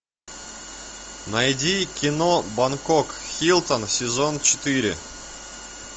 найди кино бангкок хилтон сезон четыре